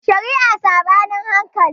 Shari'a Saɓanin hankali